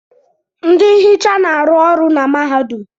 Ndị nhicha na-arụ ọrụ na mahadum.